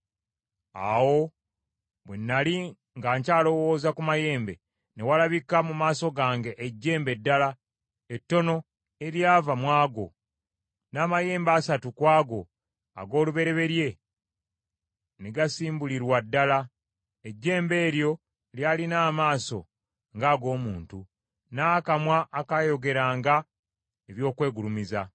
“Awo bwe nnali nga nkyalowooza ku mayembe, ne walabika mu maaso gange ejjembe eddala, ettono, eryava mu ago; n’amayembe asatu ku ago ag’olubereberye ne gasimbulirwa ddala. Ejjembe eryo lyalina amaaso ng’ag’omuntu, n’akamwa akaayogeranga eby’okwegulumiza.